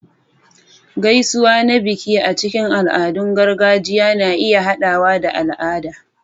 Gaisuwa na biki a cikin al'adun gargajiya na iya haɗawa da al'ada